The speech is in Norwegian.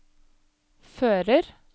fører